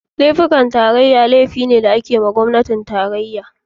Laifukan tarayya laifuka ne da ake yiwa gwamnatin tarayya.